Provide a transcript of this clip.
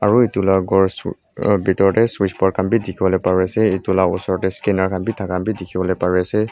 aro etula kor suu uhh pitor dae switch board khan bi dikipolae pari asae etu la osor dae scanner khan bi taka khan bi dikipolae pari asae.